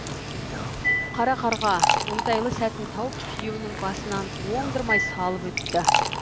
қара қарға оңтайлы сәтін тауып күйеуінің басынан оңдырмай салып өтті